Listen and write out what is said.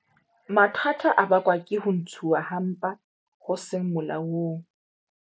Mathata a bakwang ke ho ntshuwa ha mpa ho seng molaong